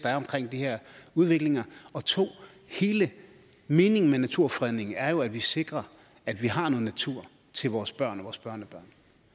er omkring de her udviklinger 2 hele meningen med naturfredningen er jo at vi sikrer at vi har noget natur til vores børn og vores børnebørn